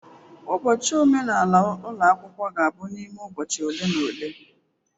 Ụbọchị omenala ụlọ akwụkwọ ga-abụ n'ime ụbọchị ole na ole.